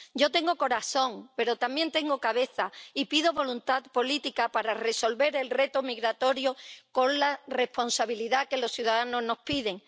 Yo tengo corazón, pero también tengo cabeza, y pido voluntad política para resolver el reto migratorio con la responsabilidad que los ciudadanos nos piden.